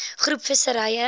groep visserye